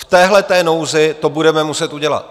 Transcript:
V této nouzi to budeme muset udělat.